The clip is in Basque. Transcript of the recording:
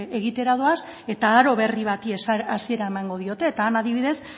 egitera doaz eta aro berri bati hasiera emango diote eta han adibidez